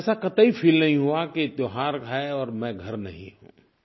ऐसा कतई फील नहीं हुआ कि त्योहार है और मैं घर नहीं हूँ